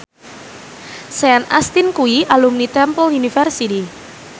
Sean Astin kuwi alumni Temple University